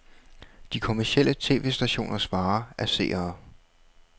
De kommercielle tv-stationers vare er seere.